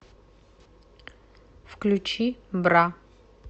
включи бра